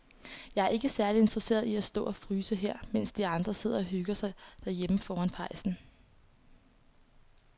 Jeg er ikke særlig interesseret i at stå og fryse her, mens de andre sidder og hygger sig derhjemme foran pejsen.